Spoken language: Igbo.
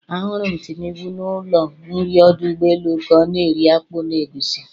Ahụrụ m Tinubu n'ụlọ nri ọdụ ụgbọelu ka ọ na-eri akpu na egusi.